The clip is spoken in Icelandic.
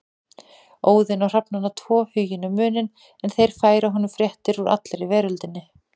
Óðinn á hrafnana tvo Huginn og Muninn en þeir færa honum fréttir úr allri veröldinni.